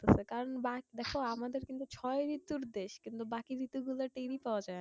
কারণ বার দেখো আমাদের কিন্তু ছয় ঋতুর দেশ। কিন্তু বাকি ঋতু গুলার টেরই পাওয়া যায়না।